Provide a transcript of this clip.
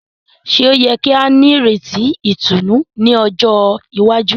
Ṣe o yẹ ki a nireti ìtùnú ní ọjọ iwaju?